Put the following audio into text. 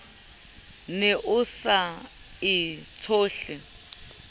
ne o sa e tshohle